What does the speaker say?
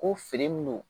Ko fini minnu